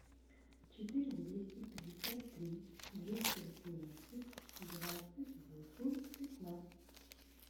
четыре двести пятьдесят три двести восемнадцать двадцать восемь пятнадцать